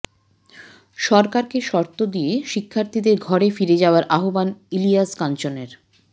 সরকারকে শর্ত দিয়ে শিক্ষার্থীদের ঘরে ফিরে যাওয়ার আহ্বান ইলিয়াস কাঞ্চনের